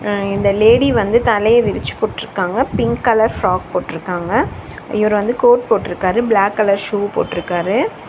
அ இந்த லேடி வந்து தலைய விரிச்சு போட்ருக்காங்க பிங்க் கலர் ஃப்ராக் போட்ருக்காங்க. இவரு வந்து கோட் போட்டுருக்காரு பிளாக் கலர் ஷூ போட்ருக்காரு.